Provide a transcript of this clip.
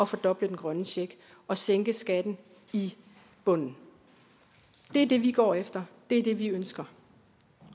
fordoble den grønne check og sænke skatten i bunden det er det vi går efter det er det vi ønsker